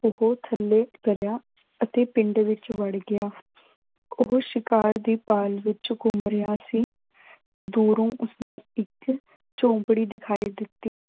ਉਹ ਥੱਲੇ ਗਿਆ ਅਤੇ ਪਿੰਡ ਵਿੱਚ ਵੜ ਗਿਆ। ਉਹ ਸ਼ਿਕਾਰ ਦੀ ਭਾਲ ਵਿੱਚ ਘੁੰਮ ਰਿਹਾ ਸੀ। ਦੂਰੋਂ ਉਸਨੂੰ ਇੱਕ ਝੌਂਪੜੀ ਦਿਖਾਈ ਦਿੱਤੀ।